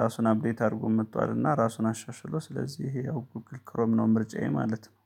ራሱን አፕዴት አድርጎ መጥቷልና ራሱን አሻሽሎ ስለዚህ ይሄ ያው ጉግል ክሮም ነው ምርጫዬ ማለት ነው